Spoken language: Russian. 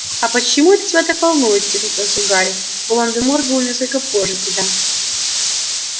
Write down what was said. а почему это тебя так волнует тихо спросил гарри волан-де-морт был несколько позже тебя